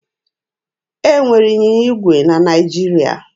E nwere ịnyịnya igwe na Naịjirịa.